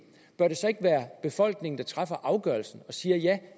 bør det så ikke være befolkningen der træffer afgørelsen og siger